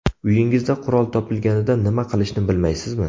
Uyingizda qurol topilganida nima qilishni bilmaysizmi?